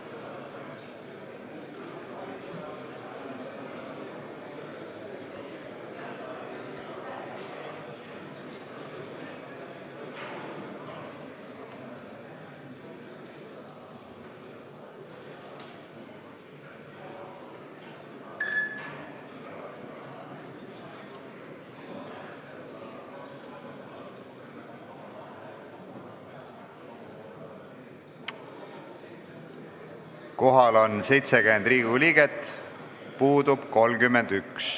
Kohaloleku kontroll Kohal on 70 Riigikogu liiget, puudub 31.